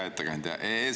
Hea ettekandja!